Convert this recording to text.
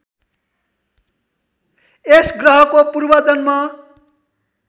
यस ग्रहको पूर्वजन्म